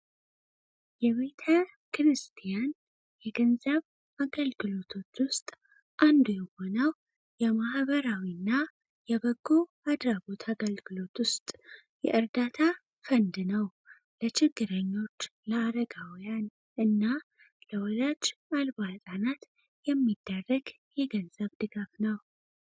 የቤተ ክርስቲያን የገንዘብ አገልግሎቶች ውስጥ አንዱ የሆነው የማህበራዊ እና የበጎ አድራጎት አገልግሎት ውስጥ የእርዳታ ፈንድ ነው ለችግረኞች ለአረጋውያን እና ለወላጅ አልባ አጣናት የሚዳረግ የገንዘብ ድገፍ ነው።